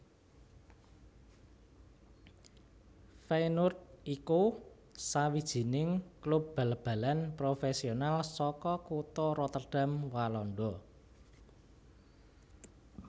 Feyenoord iku sawijining klub bal balan profésional saka kutha Rotterdam Walanda